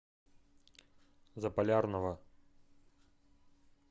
заполярного